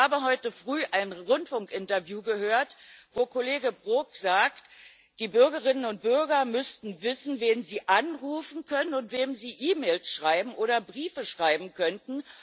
Ich habe heute früh ein Rundfunkinterview gehört, wo Kollege Brok sagt, die Bürgerinnen und Bürger müssten wissen, wen sie anrufen können und wem sie E Mails oder Briefe schreiben könnten.